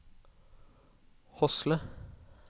Hosle